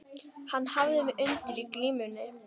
Hann hafði mig undir í glímunni.